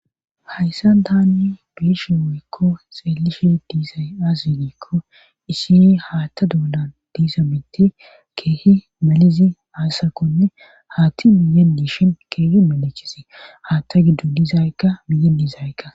Hayssan tani be7ishe woykko xeellishe dizay aaze giikko issi haatta doonan diiza mitti keehi melizi aysakkonne haatti miyyen dishin keehi melichizi haatta giddon dizaykka miyen dizaykka.